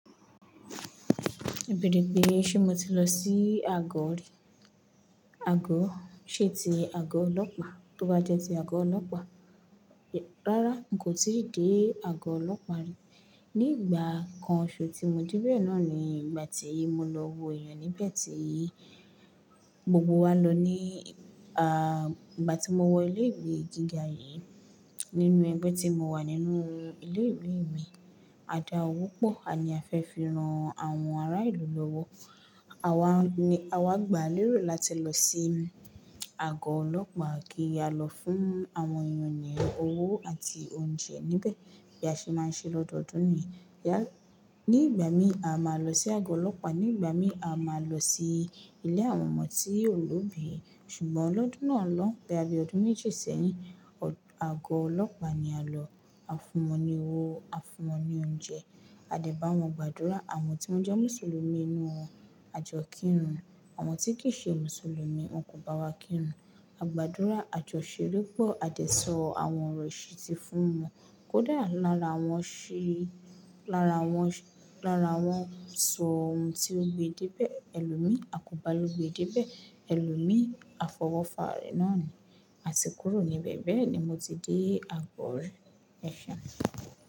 Bẹ̀ẹ́dẹ̀gbẹ̀ẹ́ ṣé mo ti lọ sí àgọ̀ rí? Àgọ̀, ṣé ti àgọ̀ ọlọ́pàá? Tó bá jẹ́ ti àgọ̀ ọlọ́pàá, rárá n kò tíì dé àgọ̀ ọlọ́pàá rí. Ní ìgbà kan soso tí mo débẹ̀ náà ni ìgbà tí mo lọ wo èèyàn níbẹ̀ tí gbogbo wa lọ ní ìgbà tí mo wọ ilé ìwé gíga yìí, nínú ẹgbẹ́ tí mo wà nínú ilé ìwé mi, a dá owó pọ̀, a ni a fẹ́ fi rán àwọn ará ìlú lọ́wọ́. Àwa ni, àwa gbà lérò láti lọ sí àgọ̀ ọlọ́pàá kí a lọ fún àwọn èèyàn ní owó àti oúnjẹ níbẹ̀ bí a ṣe máa ń ṣe lọ́dọọdún ni. Ní ìgbà mí, a máa lọ sí àgọ̀ ọlọ́pàá, ní ìgbà mí, a máa lọ sí ilé àwọn ọmọ tí òlóbìí. Ṣùgbọ́n lọ́dún náà lọ́un, boya bii ọdún méjì sẹ́yìn, àgọ̀ ọlọ́pàá ni a lọ. A fún wọn ní owó, a fún wọn ní oúnjẹ. A dẹ̀ bá wọn gbàdúrà, àwọn tí wọ́n jẹ́ Mùsùlùmí nínú wọn, a jọ kírun. Àwọn tí kì í ṣe Mùsùlùmí, wọn kò bá wa kírun. A gbàdúrà, a jọ ṣere pọ̀, a dẹ̀ sọ àwọn ọ̀rọ̀ ìṣìtí fún wọn. Kódà lára wọn ṣi, lára wọn, lára wọn sọ ohun tí ó gbe déébẹ̀, ẹlòmíì, akòbá o gbee déébẹ̀. Ẹlòmíì, afọwọ́fa re naa ni, àti kúrò níbẹ̀ bẹ́ẹ̀ ni mo ti dé àgọ̀ rí. Mẹ́ṣẹ̀.